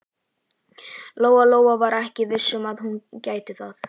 Lóa-Lóa var ekki viss um að hún gæti það.